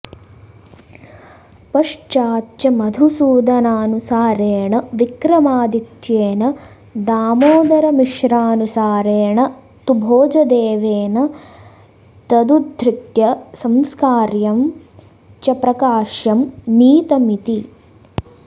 पश्चाच्च मधुसूदनानुसारेण विक्रमादित्येन दामोदरमिश्रानुसारेण तु भोजदेवेन तदुधृत्य संस्कार्यं च प्रकाश्यं नीतमिति